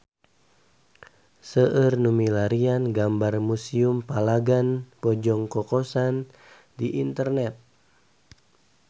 Seueur nu milarian gambar Museum Palagan Bojong Kokosan di internet